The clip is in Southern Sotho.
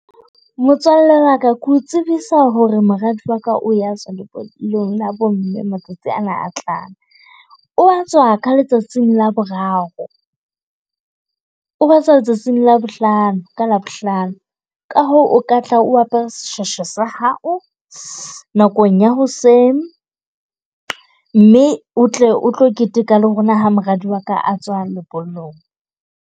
Motswalle wa ka, ke o tsebisa hore moradi wa ka o a tswa lebollong la bomme. Matsatsi ana a tlang, o a tswa ka letsatsing Laboraro. O a tswa letsatsing la Labohlano ka Labohlano. Ka hoo o ka tla o apere seshweshwe sa hao nakong ya hoseng, mme o tle o tlo keteka le rona ha moradi wa ka a tswa lebollong.